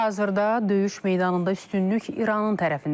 Hal-hazırda döyüş meydanında üstünlük İranın tərəfindədir.